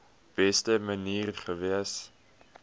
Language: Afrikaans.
beste manier gewees